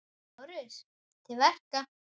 LÁRUS: Til verka!